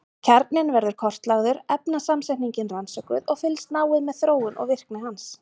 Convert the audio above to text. Kjarninn verður kortlagður, efnasamsetningin rannsökuð og fylgst náið með þróun og virkni hans.